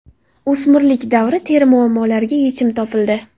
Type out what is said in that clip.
O‘smirlik davri teri muammolariga yechim topildi.